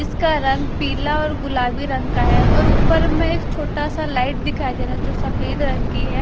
इसका रंग पीला और गुलाबी रंग का है और ऊपर में एक छोटा सा लाइट दिखाई दे रहा है जो सफेद रंग की है।